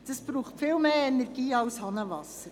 Das braucht viel mehr Energie als Hahnenwasser.